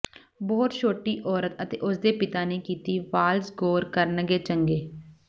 ਬਹੁਤ ਛੋਟੀ ਔਰਤ ਅਤੇ ਉਸ ਦੇ ਪਿਤਾ ਨੇ ਕੀਤੀ ਵਾਲਜ਼ ਗੌਰ ਕਰਨਗੇ ਚੰਗੇ